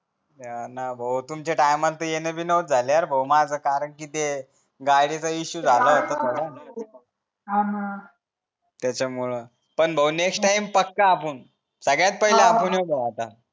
हो ना भाऊ तुमचा टाईम चा तुमच येन बिन झाले कारण कि ते गाडीच इश्यू झाला होता थोडा आणि त्याच्यामुळ पण भाऊ नेक्स्टटाईम पक्का आपुन सगळ्यात पहिले आपण येऊ भाऊ आता